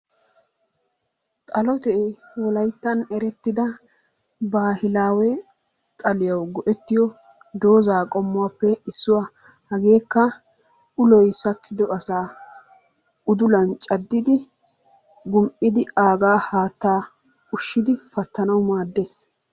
xalotee wolayttan erettida baahilaawe xaliyawu go'ettiyo dozzaa qommuwappe issuwa hageekka uloy sakkido asaa udulan caddidi gum'idi aaga haataa ushidi pattanawu maaddees.